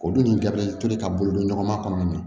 O dun toli ka bolo don ɲɔgɔn ma kɔnɔna na